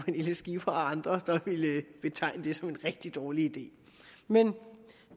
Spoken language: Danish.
skipper og andre der ville betegne det som en rigtig dårlig idé men